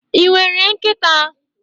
Ị nwere nkịta?